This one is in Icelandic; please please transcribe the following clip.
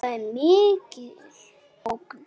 Það er mikil ógn.